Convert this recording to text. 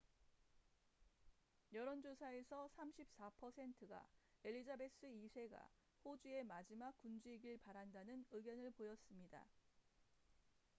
여론 조사에서 34 퍼센트가 엘리자베스 2세가 호주의 마지막 군주이길 바란다는 의견을 보였습니다